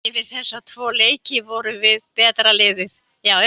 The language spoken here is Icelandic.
Yfir þessa tvo leiki vorum við betra liðið.